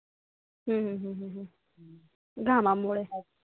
हम्म घामामूळे